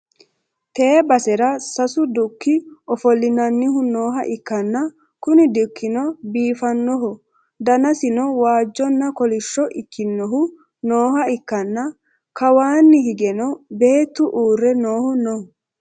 tee basera sasu dukki ofolli'nannihu nooha ikkanna, kuni dukkino biifannohu danasino waajjonna kolishhso ikkinohu nooha ikkanna, kawaanni higeno beettu uurre noohu no.